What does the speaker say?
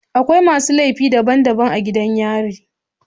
Akwai masu laifi daban daban a gidan yari